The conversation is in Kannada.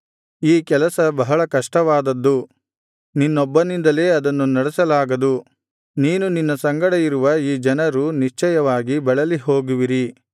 ಈ ಕೆಲಸ ಬಹಳ ಕಷ್ಟವಾದದ್ದು ನಿನ್ನೊಬ್ಬನಿಂದಲೇ ಅದನ್ನು ನಡೆಸಲಾಗದು ನೀನು ನಿನ್ನ ಸಂಗಡ ಇರುವ ಈ ಜನರೂ ನಿಶ್ಚಯವಾಗಿ ಬಳಲಿಹೋಗುವಿರಿ